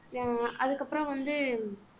ஆஹ் அதுக்கப்புறம் வந்து